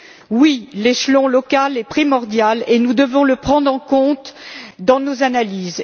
Oui, l'échelon local est primordial et nous devons le prendre en compte dans nos analyses.